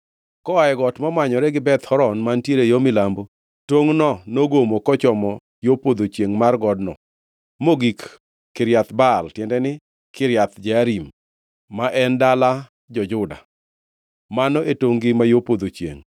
Koa e got momanyore gi Beth Horon mantiere yo milambo, tongʼno nogomo kochomo yo podho chiengʼ mar godno, mogik Kiriath Baal (tiende ni, Kiriath Jearim), ma en dala jo-Juda. Mano e tongʼ-gi ma yo podho chiengʼ.